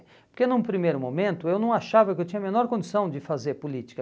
Porque num primeiro momento eu não achava que eu tinha a menor condição de fazer política.